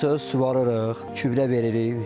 Ondan sonra suvarırıq, gübrə veririk.